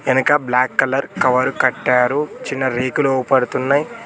ఎనక black colour cover కట్టారు చిన్న రేకులు ఒపడుతున్నాయి.